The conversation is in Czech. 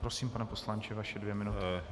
Prosím, pane poslanče, vaše dvě minuty.